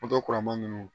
Dɔ kura ma ninnu